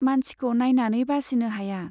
मानसिखौ नाइनानै बासिनो हाया।